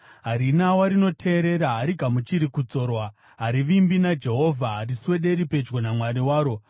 Harina warinoteerera, harigamuchiri kudzorwa. Harivimbi naJehovha, hariswederi pedyo naMwari waro.